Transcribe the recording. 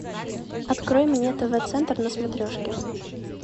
открой мне тв центр на смотрешке